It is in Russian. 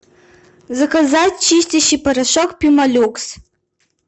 заказать чистящий порошок пемолюкс